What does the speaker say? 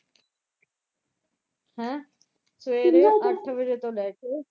ਹੈਂ ਸਵੇਰ ਦੇ ਅੱਠ ਵਜੇ ਤੋਂ ਲੈ ਕੇ,